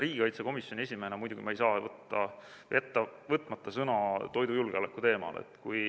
Riigikaitsekomisjoni esimehena muidugi ma ei saa jätta sõna võtmata toidujulgeoleku teemal.